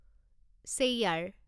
chair